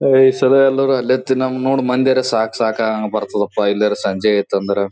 ಓ ಈ ಸರಿ ಎಲ್ಲಾರು ಅಲ್ಲೇ ತಿಂನ್ನೋನ್ ಮಂದಿರ್ ಸಾಕ್ ಸಾಕ್ ಹಂಗ್ ಬರತ್ತದಪ್ಪಾ ಇಲ್ಲಿಯಾರ್ ಸಂಜೆಯ ಆಯ್ತು ಅಂದ್ರ .